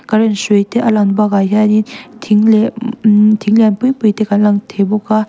current hrui te a lang bakah hianin thing leh mmm thing lian pui pui te kan lang thei bawk a.